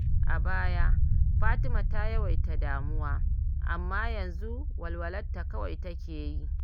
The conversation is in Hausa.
A baya, Fatima ta yawaita damuwa, amma yanzu walwalarta kawai take yi.